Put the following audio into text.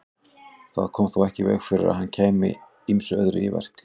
Það kom þó ekki í veg fyrir að hann kæmi ýmsu öðru í verk.